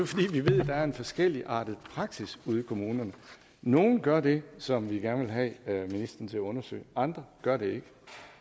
fordi vi ved at der er en forskelligartet praksis ude i kommunerne nogle gør det som vi gerne vil have ministeren til at undersøge andre gør det ikke